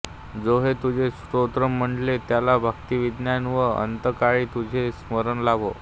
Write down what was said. जो हे तुझे स्तोत्र म्हणेल त्याला भक्ती विज्ञान वा अंतःकाळी तुझे स्मरण लाभो